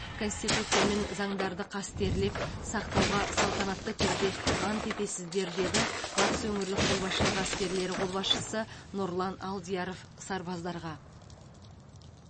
конституция мен заңдарды қастерлеп сақтауға салтанатты түрде ант етесіздер деді батыс өңірлік қолбасшылығы әскерлері қолбасшысы нұрлан алдияров сарбаздарға